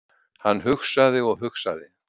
Hann hugsaði og hugsaði.